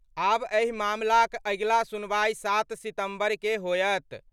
आब एहि मामलाक अगिला सुनवाई 7 सितंबर के होयत।